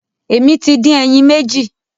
Èmi tí dín ẹyìn méjì.